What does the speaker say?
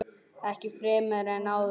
Ekki fremur en áður.